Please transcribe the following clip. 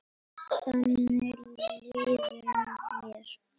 Þannig líður mér.